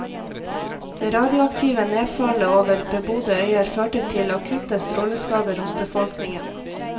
Det radioaktive nedfallet over bebodde øyer førte til akutte stråleskader hos befolkningen.